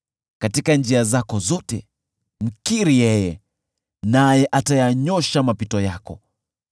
katika njia zako zote mkiri yeye, naye atayanyoosha mapito yako.